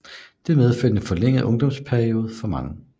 Det medførte en forlænget ungdomsperiode for mange